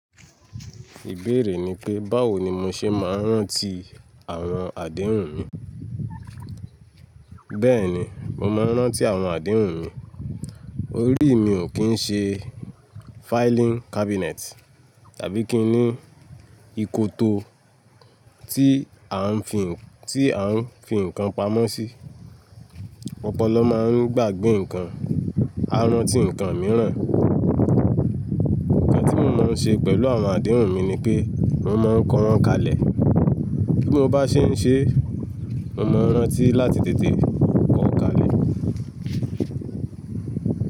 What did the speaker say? Ìbéèrè ni pé báwo ni mo ṣe máa ń rántí àwọn àdéhùn mi. Bẹ́ẹ̀ni, mo máa ń rántí àwọn àdéhùn mi. Orí mi ò kí ń ṣe filing cabinet tàbí kí ni ìkòto tí à ń fi nǹkan pamọ́ sí. Ọ́pọ́lọ́ máa ń gbàgbé nǹkan, a rántí nǹkan mìíràn. Ǹkan tí mo máa ń ṣe pẹ̀lú àwọn àdéhùn mi ni pé mo máa ń kọ wọ́n kalẹ̀. Kí mo bá ṣe ń ṣe, mo máa rántí láti tètè kọ̀ ọ́ kalẹ̀